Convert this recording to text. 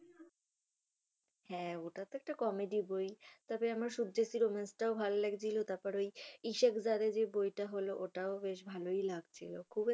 হ্যাঁ ওটা তো একটা comedy বই, তবে আমার সুদ্দেশী romance টাও ভাল্লাগছিলো তারপরে ওই ইসেক যারের যে বই টা হল ওটাও বেশ ভালোই লাগছিল খুব একটা